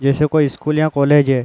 जैसे कोई स्कूल या कॉलेज है।